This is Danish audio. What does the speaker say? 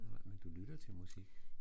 Nej men du lytter til musik